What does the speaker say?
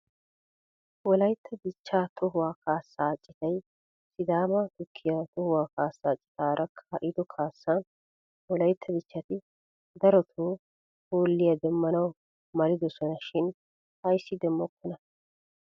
Wolaytta dichchaa tohuwaa kaassaa citay sidaama tukkiyaa tohuwaa kaassaa citaara kaa'ido kaassan wolaytta dichchati daroto hooliyaa demmanaw malidoson shin ayssi demmokonaa?